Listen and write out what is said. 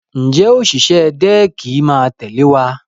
Ǹjẹ́ òṣìṣẹ́ dẹ́ẹ̀kì máa tẹ̀lé wa?